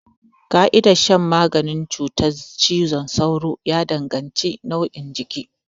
Ƙa'idar shan maganin cutar cizon sauro ya danganci nauyin jiki.